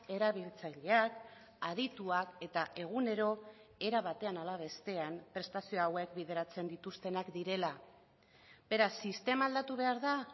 erabiltzaileak adituak eta egunero era batean hala bestean prestazio hauek bideratzen dituztenak direla beraz sistema aldatu behar da